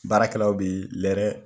Baarakɛlaw bɛ lɛrɛ